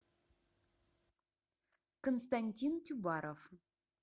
константин тюбаров